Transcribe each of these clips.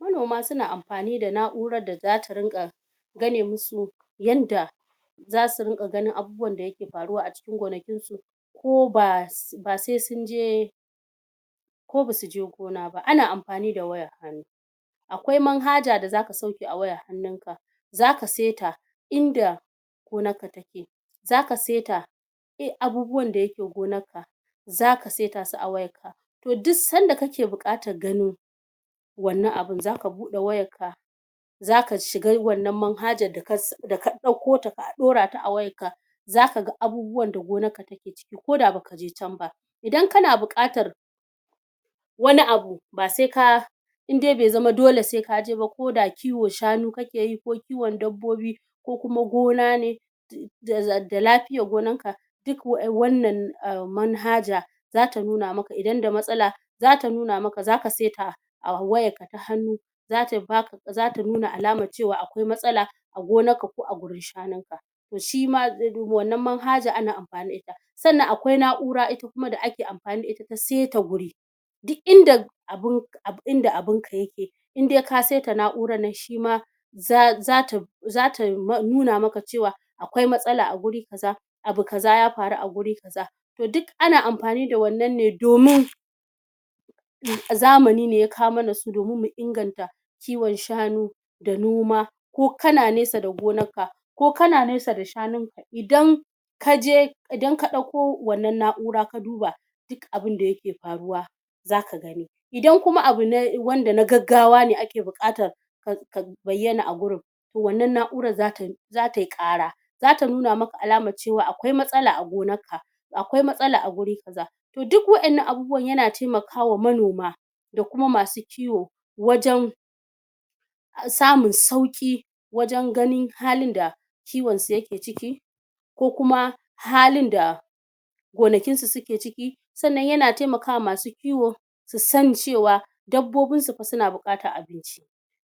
Manoma suna ampani da na'uarar da zata rinƙa gane musu yanda zasu rinƙa ganin abubuwan da yake paruwa a cikin gonakin su ko ba ba se sunje ko basu je gona ba ana ampani da waya akwai manhaja da zaka sauke a wayar hannunka zaka seta inda gonarka take. Zaka seta a abubuwan da yake gonarka zaka seta su a wayar ka toh duk sanda kake buƙatar gano wannan abun zaka buɗe wayar ka zaka shiga wannan manhajar daka daka ɗaukota ka ɗaurata a wayan ka zakaga abubuwan da gonarka take ciki koda baka je can ba idan kana buƙatar wani abu ba seka indai be zama dole sekaji ba ko da kiwon shanu kakeyi ko kiwon dabbobi ko kuma gona ne da da lapiyar gonan ka duk wannan manhaja em manhaja zata nuna maka idan da matsala zata nuna maka zaka seta a wayarka ta hannu zata ba zata nuna alamar cewa akwai matsala a gonarka ko a gurin shanunka toh shima wannan manhaja ana ampani da ita. Sannan akwai na'ura ita kuma da ake ampani da ita ta seta guri duk inda abun duk inda abinka yake indai ka seta na'urannan shima za zata zata em nuna maka cewa akwai matsala a guri kaza abu kaza ya paru a wuri kaza, toh duk ana ampani da wannan ne domin zamani ne ya kawo mana su domin mu inganta kiwon shanu da noma, ko kana nesa da gonarka ko kana nesa da shanunka idan kaje idan ka ɗauko wannan na'ura ka duba duk abinda yake paruwa zaka gani idan kuma abu na wanda na gaggawa ne ake buƙatar ka ka bayyana a gurin toh wannan na'uran zata zatayi ƙara zata nuna maka alamar cewa akwai matsala a gonar ka akwai matsala a guri kaza toh duk wa'innan abubuwan yana taimakawa manoma da kuma masu kiwo wajan samun sauƙi wajan ganin halin da kiwon su yake ciki ko kuma halin da gonakin su suke ciki, sannan yana taimakwa masu kiwo susani cewa dabbobinsu pa suna buƙatan abinci,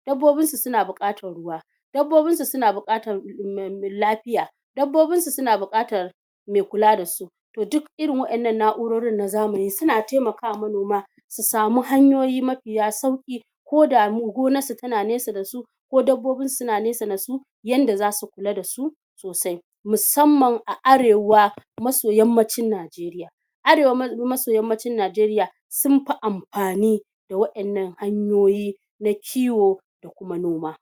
dabbobinsu suna buƙatar ruwa, dabbobinsu suna buƙatar em lapiya, dabbobinsu suna buƙatar mai kula da su, tohh duk irin wa'innan na'urorin na zamani suna taimakawa manoma su samu hanyoyi mapiya sauƙi ko da gonar su tana nesa dasu ko dabbobinsu suna nesa dasu yanda zasu kula dasu sosai. Musamman a arewa maso yammacin Najeriya arewa maso yammacin Najeriya sun pi ampani da wa'innan hanyoyi na kiwo da kuma noma.